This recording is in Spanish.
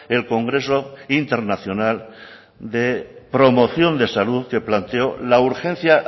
el congreso internacional de promoción de salud que planteó la urgencia